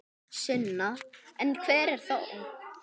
Sunna: En einhver þó?